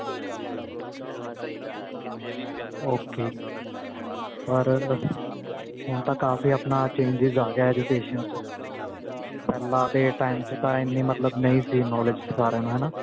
ok ਪਰ ਹੁਣ ਤਾਂ ਕਾਫ਼ੀ ਆਪਣਾ changes ਆ ਗਿਆ education ਚ ਪਹਿਲਾ ਦੇ time ਚ ਤਾਂ ਨਹੀਂ ਸੀ knowledge ਸਾਰਿਆ ਨੂੰ ਹਨਾ